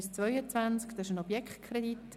Es ist ein Objektkredit.